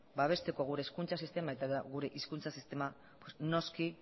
babesteko gure hezkuntza sistema eta gure hizkuntza sistema noski